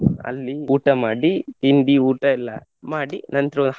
ಅಲ್ಲಿ ಊಟ ಮಾಡಿ ತಿಂಡಿ, ಊಟ ಎಲ್ಲ ಮಾಡಿ ನಂತ್ರ.